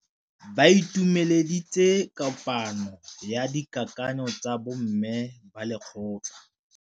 Ba itumeletse kôpanyo ya dikakanyô tsa bo mme ba lekgotla.